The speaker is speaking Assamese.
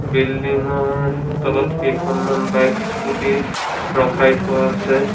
বিল্ডিং ৰ তলত কেইখনমান বাইক স্কুটী ৰখাই থোৱা আছে।